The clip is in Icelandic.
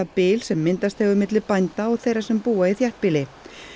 bil sem myndast hefur milli bænda og þeirra sem búa í þéttbýli